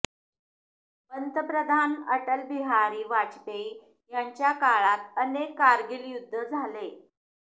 पंतप्रधान अटल बिहारी वाजपेयी यांच्या काळात अनेक कारगील युद्ध झाले